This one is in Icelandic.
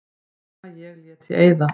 Nema ég léti eyða.